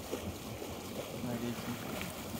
навеки